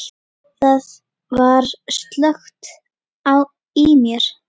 Það var slökkt í mér.